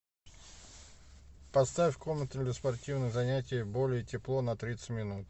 поставь в комнате для спортивных занятий более тепло на тридцать минут